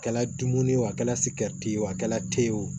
A kɛla dumuni ye o a kɛra sigɛriti ye o a kɛra te ye o